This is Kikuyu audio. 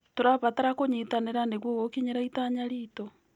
Tũrabatara kũnyitanĩra nĩguo gũkinyĩra itanya ritũ.